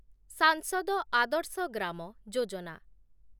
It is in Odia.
ସାଂସଦ ଆଦର୍ଶ ଗ୍ରାମ ଯୋଜନା